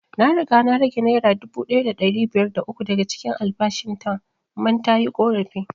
Na riga na rage naira dubu ɗaya da ɗari biyar da uku daga cikin albashin ta man tayi ƙorafi